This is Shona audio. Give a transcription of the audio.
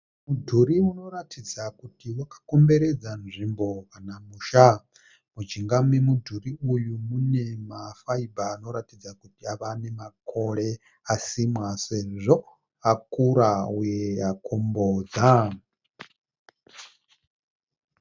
Mudhuri unoratidza kuti wakakomberedza nzvimbo kana musha. Mujinga memudhuri uyu mune ma fibre anoratidza kuti ava nemakore asimwa sezvo akura uye akombodza.